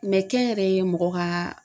Mɛ kɛ n yɛrɛ ye mɔgɔ ka